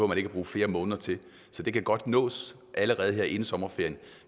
man ikke bruge flere måneder til så det kan godt nås allerede her inden sommerferien